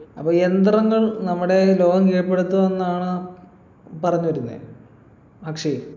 അപ്പൊ യന്ത്രങ്ങൾ നമ്മുടെ ലോകം കീഴ്പ്പെടുത്തു എന്നാ പറഞ്ഞിരുന്നെ അക്ഷയ്